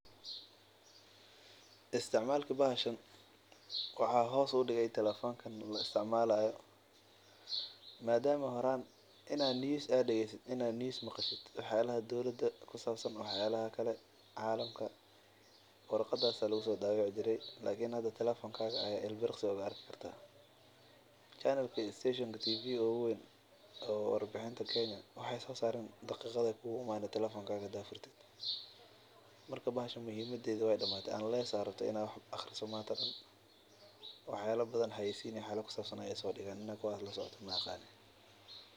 Isticmaalka bahshan waxaa hoos udigay telefonka madama horaan inaad war maqasho bahshan ayaa lagu soo qori jire lakin hada telefonka ayaa kaheleysa lakin hada bahshan isticmalkeeda wuu damaade.